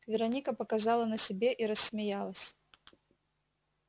вероника показала на себе и рассмеялась